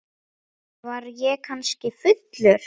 Var ég kannski fullur?